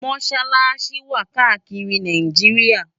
Mọṣalaṣi wá kàákiri Náijiriá